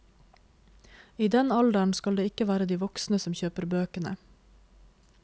I den alderen skal det ikke være de voksne som kjøper bøkene.